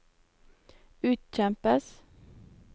utkjempes